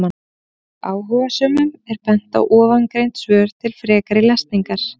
Áhugasömum er bent á ofangreind svör til frekari lesningar.